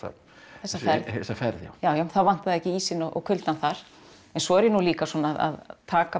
þessa ferð já já það vantaði ekki ísinn og kuldann þar en svo er ég nú líka að taka